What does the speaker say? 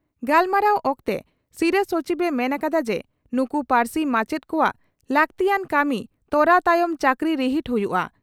ᱜᱟᱞᱢᱟᱨᱟᱣ ᱚᱠᱛᱮ ᱥᱤᱨᱟᱹ ᱥᱚᱪᱤᱵᱽ ᱮ ᱢᱮᱱ ᱟᱠᱟᱫᱟ ᱡᱮ ᱱᱩᱠᱩ ᱯᱟᱹᱨᱥᱤ ᱢᱟᱪᱮᱛ ᱠᱚᱣᱟᱜ ᱞᱟᱹᱜᱛᱤᱭᱟᱱ ᱠᱟᱹᱢᱤ ᱛᱚᱨᱟᱣ ᱛᱟᱭᱚᱢ ᱪᱟᱹᱠᱨᱤ ᱨᱤᱦᱤᱴ ᱦᱩᱭᱩᱜᱼᱟ ᱾